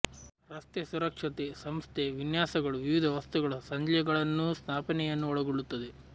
ರಸ್ತೆ ಸುರಕ್ಷತೆ ಸಂಸ್ಥೆ ವಿನ್ಯಾಸಗಳು ವಿವಿಧ ವಸ್ತುಗಳ ಸಂಜ್ಞೆಗಳನ್ನೂ ಸ್ಥಾಪನೆಯನ್ನು ಒಳಗೊಳ್ಳುತ್ತದೆ